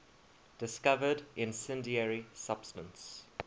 discovered incendiary substance